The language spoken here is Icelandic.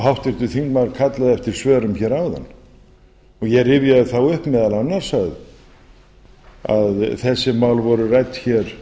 háttvirtur þingmaður kallaði eftir svörum hér áðan og ég rifjaði það upp meðal annars að þessi mál voru rædd hér